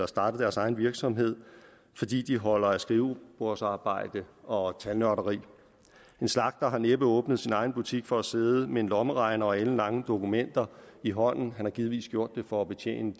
startet deres egen virksomhed fordi de holder af skrivebordsarbejde og tallotteri en slagter har næppe åbnet sin egen butik for at sidde med en lommeregner og alenlange dokumenter i hånden men har givetvis gjort det for at betjene